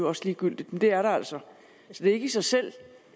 også ligegyldigt men det er der altså så det er ikke i sig selv